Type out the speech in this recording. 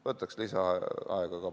Võtaks lisaaega ka.